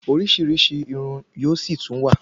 Orísirísi Irun yóò sì tún wà